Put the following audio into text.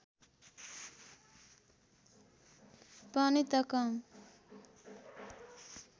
पनि त कम